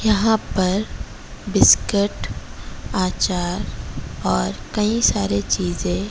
यहाँ पर बिस्कट आचार और कई सारे चीजें--